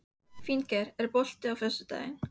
Óvitandi um að þetta var okkar síðasta stund.